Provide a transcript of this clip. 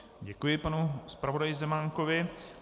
Děkuji panu zpravodaji Zemánkovi.